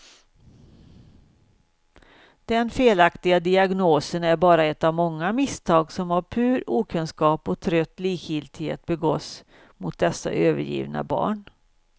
Den felaktiga diagnosen är bara ett av många misstag som av pur okunskap och trött likgiltighet begås mot dessa övergivna barn.